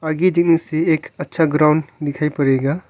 से एक अच्छा ग्राउंड दिखाई पड़ेगा।